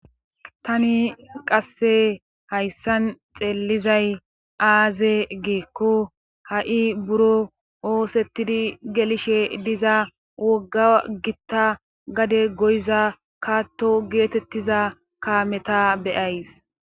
Tani qasse hayssan xeellizay aaze geekko ha'i buro oosettidi gelishe diza wogga gitta gade goyza kaatto geetettiza kameta be'ays